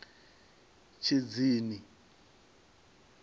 tshidzini